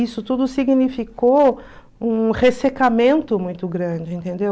isso tudo significou um ressecamento muito grande, entendeu?